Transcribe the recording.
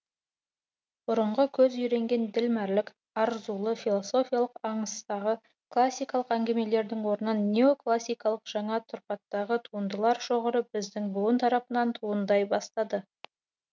бұрынғы көз үйренген ділмәрлік арзулы философиялық аңыстағы классикалық әңгімелердің орнын неоклассикалық жаңа тұрпаттағы туындылар шоғыры біздің буын тарапынан туындай бастады